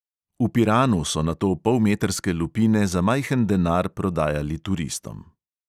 V piranu so nato polmetrske lupine za majhen denar prodajali turistom.